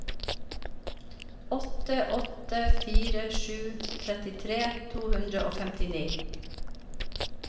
åtte åtte fire sju trettitre to hundre og femtini